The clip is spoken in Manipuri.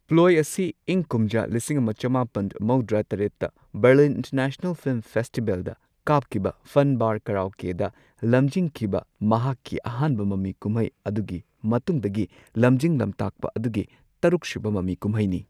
ꯄ꯭ꯂꯣꯏ ꯑꯁꯤ ꯏꯪ ꯀꯨꯝꯖꯥ ꯂꯤꯁꯤꯡ ꯑꯃ ꯆꯃꯥꯄꯟ ꯃꯧꯗ꯭ꯔꯥ ꯇꯔꯦꯠꯇ ꯕꯔꯂꯤꯟ ꯏꯟꯇꯔꯅꯦꯁꯅꯦꯜ ꯐꯤꯜꯝ ꯐꯦꯁꯇꯤꯕꯦꯜꯗ ꯀꯥꯞꯈꯤꯕ ꯐꯟ ꯕꯥꯔ ꯀꯔꯥꯎꯀꯦꯗ ꯂꯝꯖꯤꯡꯈꯤꯕ ꯃꯍꯥꯛꯀꯤ ꯑꯍꯥꯟꯕ ꯃꯃꯤ ꯀꯨꯝꯍꯩ ꯑꯗꯨꯒꯤ ꯃꯇꯨꯡꯗꯒꯤ ꯂꯝꯖꯤꯡ ꯂꯝꯇꯥꯛꯄ ꯑꯗꯨꯒꯤ ꯇꯔꯨꯛꯁꯨꯕ ꯃꯃꯤ ꯀꯨꯝꯍꯩꯅꯤ꯫